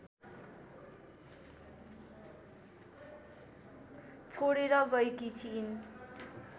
छोडेर गएकी थिइन्